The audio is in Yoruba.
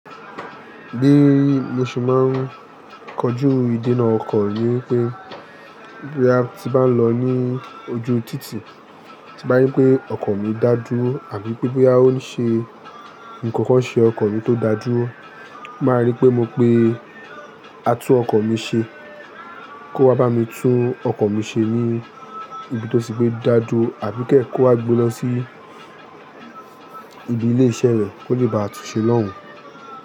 Gbé, mo sì máa ń kọjú ìdènà ọkọ̀ yín pé boya ti ń lọ ní ojú títì, tí bá yín pé ọkọ̀ mi dájú àbí pé bí a ó ṣe, n kankan n ṣe ọkọ̀ mi tó dájú, máa rí pé mo pe a tún ọkọ̀ mi ṣe, kó wá bá mi tún ọkọ̀ mi ṣe ní ibi tó ṣe pé dájú àbí kẹ́ kó wá gbe lọ sí ibi ilé iṣẹ́ rẹ̀ kó lè bá a tún ṣe lọ́hùn.